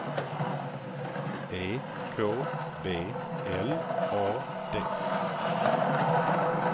E K B L A D